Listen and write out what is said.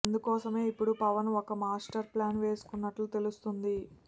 అందుకోసమే ఇప్పుడు పవన్ ఒక మాస్టర్ ప్లాన్ వేస్తున్నట్టు తెలుస్తుంది